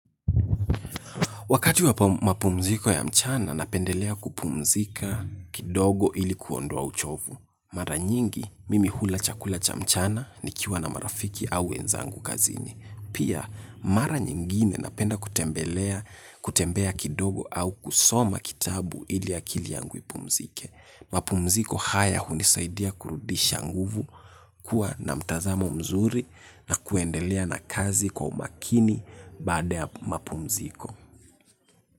Wakati wa mapumziko ya mchana, napendelea kupumzika kidogo ili kuondoa uchovu. Mara nyingi, mimi hula chakula cha mchana ni kiwa na marafiki au wenzangu kazini. Pia, mara nyingine napenda kutembelea, kutembea kidogo au kusoma kitabu ili akili yangu ipumzike. Mapumziko haya hunisaidia kurudisha nguvu, kuwa na mtazamo mzuri na kuendelea na kazi kwa umakini baada ya mapumziko.